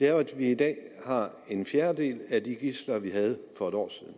er at vi i dag har en fjerdedel af de gidsler vi havde for et år siden